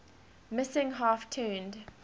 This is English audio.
missing half turned